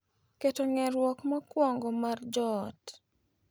Keto ng'eruok mokwongo mar joot.